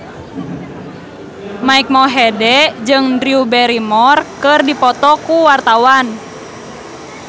Mike Mohede jeung Drew Barrymore keur dipoto ku wartawan